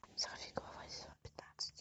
сорвиголова сезон пятнадцать